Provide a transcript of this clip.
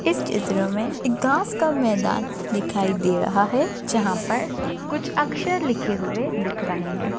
इस चित्र मे एक घास का मैदान दिखाई दे रहा है जहा पर कुछ अक्षर लिखे हुए दिख रहे है।